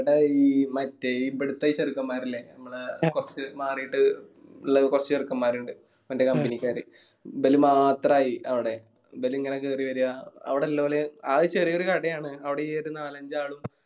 ഇബിടെ ഈ മറ്റേ ഇബീടിതെ ഈ ചെറുക്കന്മാരില്ലേ നമ്മളെ കൊർച് മാറിയിട്ട് ഇള്ള കൊർച് ചെറുക്കൻമാരിണ്ട് ഇവന്റെ company ക്കാര് ഇബ്ബല് മാത്രായി അവിടെ ഇവരിങ്ങനെ കേറി വരാ അവിടെ ഇല്ലൊലെ ആകെ ചെറിയൊരു കടയാണ് അവിടെ ഈ ഒരു നാലഞ്ചാളും